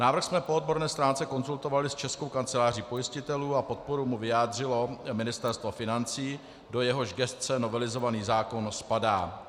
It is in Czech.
Návrh jsme po odborné stránce konzultovali s Českou kanceláří pojistitelů a podporu mu vyjádřilo Ministerstvo financí, do jehož gesce novelizovaný zákon spadá.